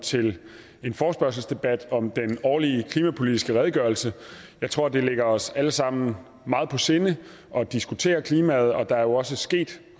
til en forespørgselsdebat om den årlige klimapolitisk redegørelse jeg tror det ligger os alle sammen meget på sinde at diskutere klimaet og der er jo også sket